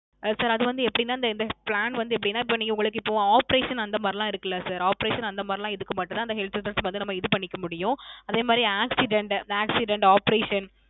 அஹ் Sir அது வந்து எப்படின இந்த Plan வந்து எப்படின இப்போ நீங்க உங்களுக்கு Operation அந்த மாரிலாம் இருக்குல Siroperation அந்த மாரி இதுக்கு மட்டும் தான் இந்த Health Insurance இது பண்ணிக்க முடியும் அதே மாதிரி Accident Accident Operation